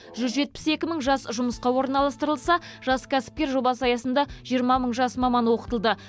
жүз жетпіс екі мың жас жұмысқа орналастырылса жас кәсіпкер жобасы аясында жиырма мың жас маман оқытылды